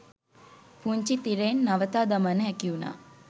පුංචි තිරයෙන් නවතා දමන්න හැකිවුණා.